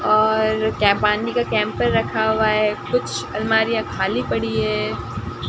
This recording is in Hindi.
और केम पानी का कैंपर रखा हुआ है। कुछ अलमारियां खाली पड़ी है।